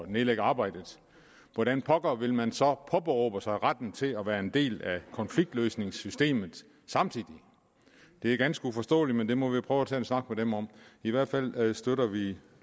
nedlægge arbejdet hvordan pokker vil man så påberåbe sig retten til at være en del af konfliktløsningssystemet samtidig det er ganske uforståeligt men det må vi prøve at tage en snak med dem om i hvert fald støtter vi